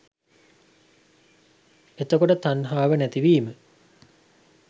එතකොට තණ්හාව නැතිවීම